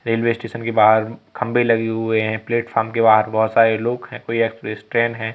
Railway station के बाहर खंबे लगे हुए हैं प्लेटफार्म के बाहर बहोत सारे लोग हैं। कोई एक्सप्रेस ट्रेन है।